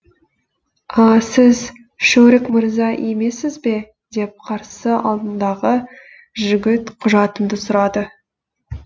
а сіз шөрік мырза емессіз бе деп қарсы алдымдағы жігіт құжатымды сұрады